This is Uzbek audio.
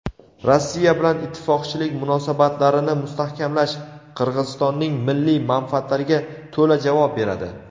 Rossiya bilan ittifoqchilik munosabatlarini mustahkamlash Qirg‘izistonning milliy manfaatlariga to‘la javob beradi.